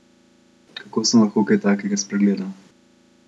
Kako sem lahko kaj takega spregledal?